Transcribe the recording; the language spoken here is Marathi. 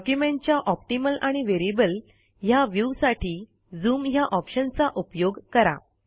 डॉक्युमेंटच्या ऑप्टिमल आणि व्हेरिएबल ह्या व्ह्यू साठी झूम ह्या ऑप्शनचा उपयोग करा